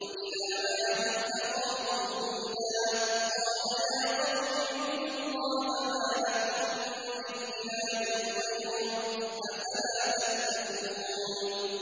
۞ وَإِلَىٰ عَادٍ أَخَاهُمْ هُودًا ۗ قَالَ يَا قَوْمِ اعْبُدُوا اللَّهَ مَا لَكُم مِّنْ إِلَٰهٍ غَيْرُهُ ۚ أَفَلَا تَتَّقُونَ